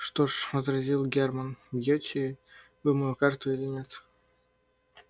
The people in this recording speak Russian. что ж возразил германн бьёте вы мою карту или нет